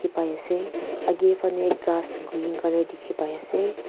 paise aga fene gass green colour dekhi pai ase.